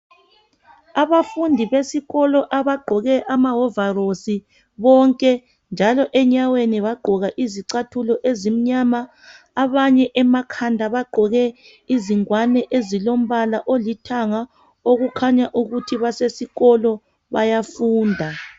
Abafundi besikolo abagqoke amahovarosi bonke njalo enyaweni bagqoka izicathulo ezimnyama njalo abanye emakhanda bagqoke izingwane emakhanda okukhanya ukuthi bayaafunda.